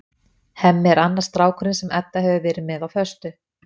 Hemmi er annar strákurinn sem Edda hefur verið með á föstu.